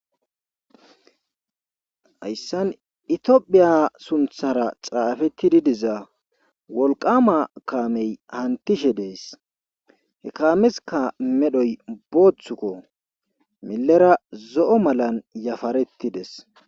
hayssan itiohphiya sunthara xaafettididiza wolqama kaamey hantishe dees he kaameska medhoy booththukko millera zo7o malan yafarettides